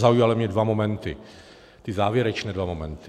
Zaujaly mě dva momenty, ty závěrečné dva momenty.